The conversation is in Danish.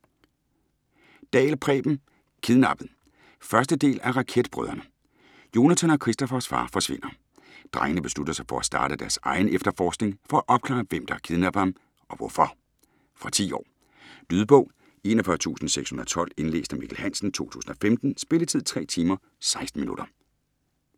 Dahl, Preben: Kidnappet 1. del af Raketbrødrene. Jonathan og Kristoffers far forsvinder. Drengene beslutter sig for at starte deres egen efterforskning, for at opklare hvem der har kidnappet ham, og hvorfor? Fra 10 år. Lydbog 41612 Indlæst af Mikkel Hansen, 2015. Spilletid: 3 timer, 16 minutter.